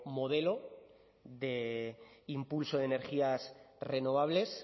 modelo de impulso de energías renovables